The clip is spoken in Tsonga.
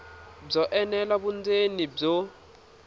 byo enela vundzeni i byo